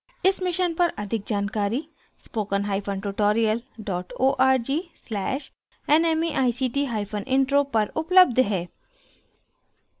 इस मिशन पर अधिक जानकारी